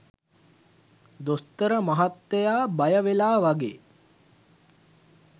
දොස්තර මහත්තයා බය වෙලා වගේ?